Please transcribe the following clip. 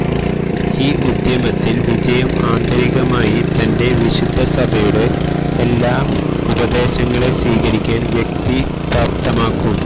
ഈ ഉദ്യമത്തിൽ വിജയം ആന്തരികമായി തന്റെ വിശുദ്ധ സഭയുടെ എല്ലാ ഉപദേശങ്ങളെ സ്വീകരിക്കാൻ വ്യക്തി പ്രാപ്തമാക്കും